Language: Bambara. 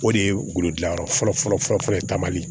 O de ye woro dilan yɔrɔ fɔlɔ fɔlɔ ye taamali